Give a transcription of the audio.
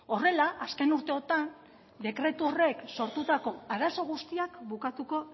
horrela azken urteotan dekretu horrek sortutako arazo guztiak bukatuko